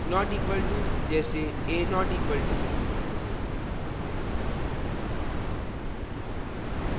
not equal to के बराबर नहीं : जैसेa != b